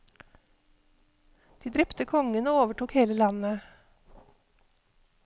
De drepte kongen og overtok hele landet.